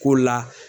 Ko la